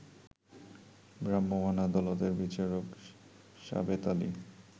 ভ্রাম্যমান আদালতের বিচারক সাবেত আলী